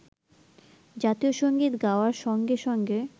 জাতীয় সংগীত গাওয়ার সঙ্গে সঙ্গে